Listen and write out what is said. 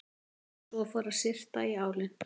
En svo fór að syrta í álinn.